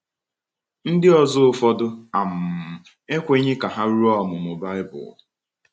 Ndị ọzọ ụfọdụ um ekweghị ka ha rụọ ọmụmụ Baịbụl